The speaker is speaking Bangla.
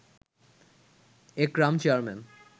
একরাম চেয়ারম্যান